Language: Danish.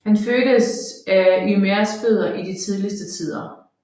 Han fødtes af Ymers fødder i de tidligste tider